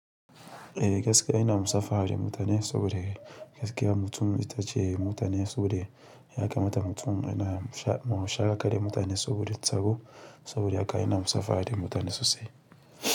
Eh gaskiya ina musafaha da mutane saboda gaskiya mutum itace mutane saboda ya kamata mutum yana ma musafaha da mutane saboda tsaro saboda haka ina musafaha da mutane sosai.